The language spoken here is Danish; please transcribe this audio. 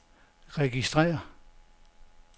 registrér